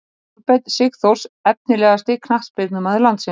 Kolbeinn sigþórs Efnilegasti knattspyrnumaður landsins?